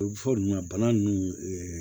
O bɛ fɔ ninnu na bana nunnu